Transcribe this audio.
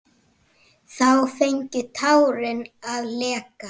og hæddist að jafnvel